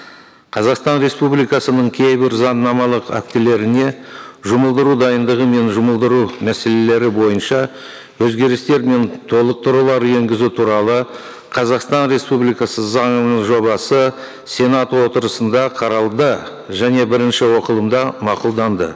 қазақстан республикасының кейбір заңнамалық актілеріне жұмылдыру дайындығы мен жұмылдыру мәселелері бойынша өзгерістер мен толықтырулар енгізу туралы қазақстан республикасы заңының жобасы сенат отырысында қаралды және бірінші оқылымда мақұлданды